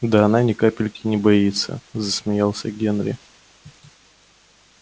да она ни капельки не боится засмеялся генри